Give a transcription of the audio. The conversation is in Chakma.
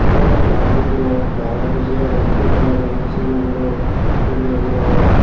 gorba mondiro barey buji agon thei thei agon sigon guro miley morot.